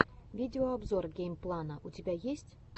видеообзор геймплана у тебя есть